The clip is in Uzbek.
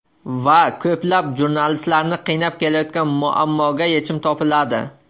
Va ko‘plab jurnalistlarni qiynab kelayotgan muammoga yechim topiladi.